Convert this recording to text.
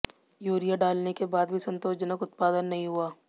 urea डालने के बाद भी संतोषजनक उत्पादन नहीं हुआ